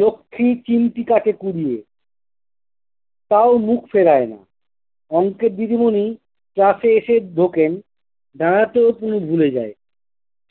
লক্ষী চিন্তিটাকে কুঁড়িয়ে, তাও মুখ ফেরায় নাহ। অঙ্কের দিদিমনি class এ এসে ঢোকেন- দাঁড়াতেও কুনি ভুলে যায়।